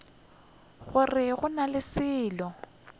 gore go na le selo